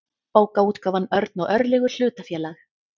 bókaútgáfan örn og örlygur hlutafélag